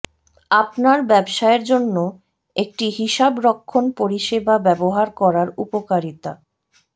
আপনার ব্যবসায়ের জন্য একটি হিসাবরক্ষণ পরিষেবা ব্যবহার করার উপকারিতা